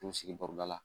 N sigi baroda la